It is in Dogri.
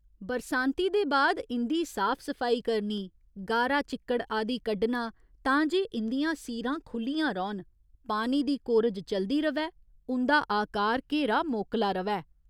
बरसांती दे बाद इं'दी साफ सफाई करनी, गारा चिक्कड़ आदि कड्ढना तां जे इं'दियां सीरां खु'ल्लियां रौह्‌न, पानी दी कोरज चलदी र'वै, उं'दा आकार घेरा मोकला र'वै।